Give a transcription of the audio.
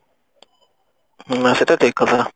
ହୁଁ ସେଟା ତ ଠିକ କଥା